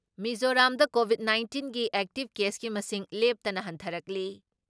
ꯃꯤꯖꯣꯔꯥꯝꯗ ꯀꯣꯚꯤꯠ ꯅꯥꯏꯟꯇꯤꯟꯒꯤ ꯑꯦꯛꯇꯤꯞ ꯀꯦꯁꯀꯤ ꯃꯁꯤꯡ ꯂꯦꯞꯇꯅ ꯍꯟꯊꯔꯛꯂꯤ ꯫